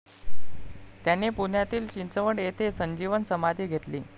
त्यांनी पुण्यातील चिंचवड येथे संजीवन समाधी घेतली.